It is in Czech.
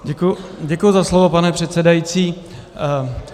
Děkuji za slovo, pane předsedající.